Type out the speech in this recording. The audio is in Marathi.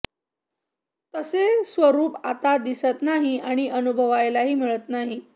तसे स्वरूप आता दिसत नाही आणि अनुभवायलाही मिळत नाही